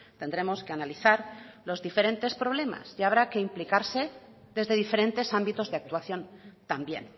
tendremos que analizar los diferentes problemas y habrá que implicarse desde diferentes ámbitos de actuación también